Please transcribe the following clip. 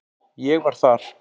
Ég var þar.